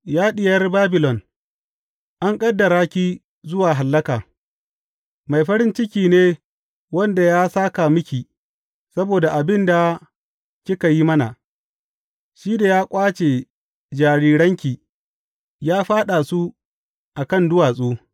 Ya Diyar Babilon, an ƙaddara ke zuwa hallaka, mai farin ciki ne wanda ya sāka miki saboda abin da kika yi mana, shi da ya ƙwace jariranki ya fyaɗa su a kan duwatsu.